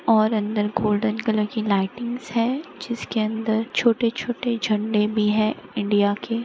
और अंदर golden colour की लाइटिंग्स है जिसके अंदर छोटे छोटे झंडे भी है इंडिया के।